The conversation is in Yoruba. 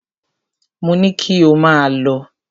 Mo ní kí ò máà lọ!